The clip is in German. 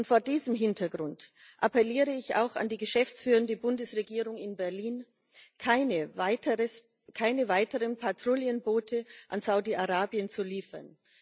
Vor diesem Hintergrund appelliere ich auch an die geschäftsführende Bundesregierung in Berlin, keine weiteren Patrouillenboote an Saudi Arabien zu liefern.